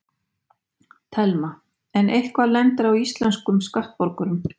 Telma: En eitthvað lendir á íslenskum skattborgurum?